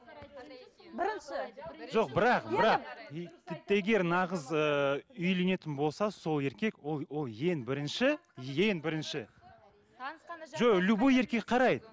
бірінші жоқ бірақ бірақ тіпті егер нағыз ы үйленетін болса сол еркек ол ол ең бірінші ең бірінші жоқ любой еркек қарайды